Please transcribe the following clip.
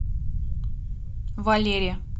валере